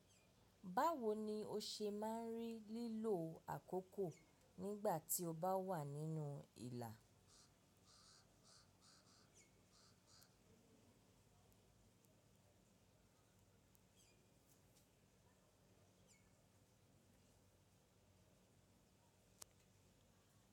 Báwo ni o ṣe máà ń rí lílò àkókò nígbà tí o bá wà nínú ìlà?